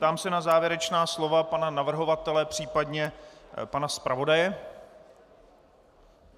Ptám se na závěrečná slova pana navrhovatele, případně pana zpravodaje.